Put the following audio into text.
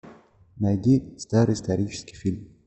найди старый исторический фильм